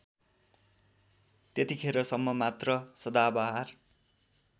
त्यतिखेरसम्म मात्र सदाबहार